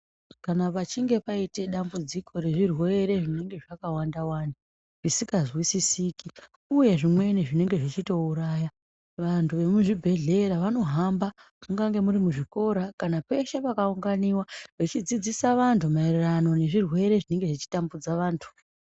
Kana pachinge paite dambudziko rezvirwere zvinenge zvakawanda wanda zvisingazwisisiki uye zvimweni zvinenge zvichitouraya vantu vemuzvibhedhkeya vanohamba mungange muri muzvikora kana peshe pakaunganiwa vechidzidzisa vantu maererano nezvirwere zvinenge zvichitambudza vantu.